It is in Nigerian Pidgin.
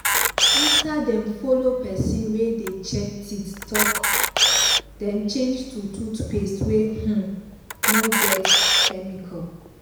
after dem follow pesin wey dey check teeth talk dem change to toothpaste wey um no get chemical.